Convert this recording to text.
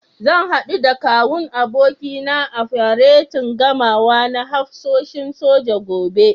Zan haɗu da Kawun abokina a faretin gamawa na hafsoshin soja, gobe.